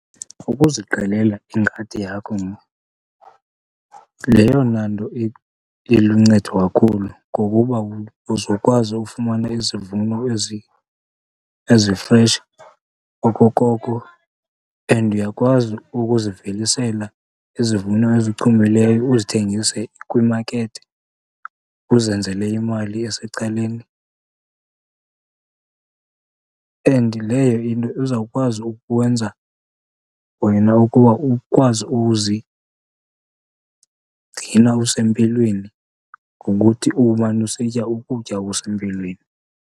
Ukuziqalela ingadi yakho yeyona nto iluncedo kakhulu, ngokuba uzokwazi ufumana izivuno ezifresh okokoko and uyakwazi ukuzivelisela izivuno ezichumileyo uzithengise kwimakethi, uzenzele imali esecaleni. And leyo into izawukwazi ukukwenza wena ukuba ukwazi uzigcina usempilweni ngokuthi umane usitya ukutya okusempilweni.